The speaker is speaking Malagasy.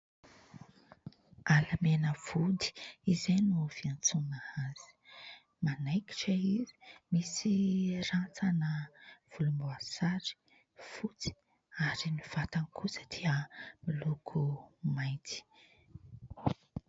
Alamena vody izay no fiantsoana azy. Manaikitra izy, misy rantsana volomboasary, fotsy ary ny vatany kosa dia miloko mainty.